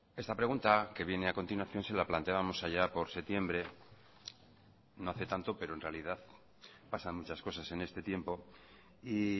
esta pregunta que viene a continuación se la planteábamos allá por septiembre no hace tanto pero en realidad pasan muchas cosas en este tiempo y